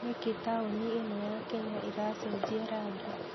Nĩkĩ taũni ĩno ya Kenya ĩracenjia rangi?